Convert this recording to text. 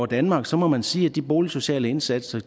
danmark så må man sige at de boligsociale indsatser